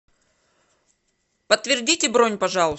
подтвердите бронь пожалуйста